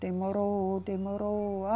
Demorou, demorou.